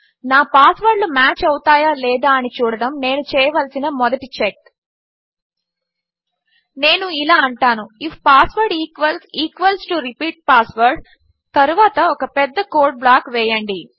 నా పాస్వర్డ్లు మ్యాచ్ అవుతాయా లేదా అని చూడడము నేను చేయవలసిన మొదటి చెక్ నేను ఇలా అంటాను if password equals equals to repeat password తరువాత ఒక పెద్ద కోడ్ బ్లాక్ వేయండి